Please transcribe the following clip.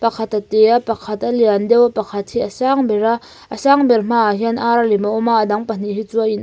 pakhat a te a pakhat a liandeuh a pakhat hi a sangber a a sangber hmaah hian ar lem a awm a a dang leh hi chu a in ang--